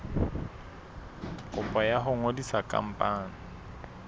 kopo ya ho ngodisa khampani